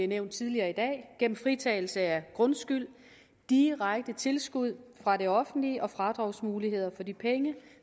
nævnt tidligere i dag gennem fritagelse af grundskyld direkte tilskud fra det offentlige og fradragsmuligheder for de penge